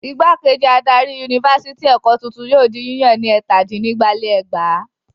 Ìgbákejì adarí Yunifásitì Èkó tuntun yóò di yíyàn ní ẹ̀tàdínnígba-lé-ẹgbàá.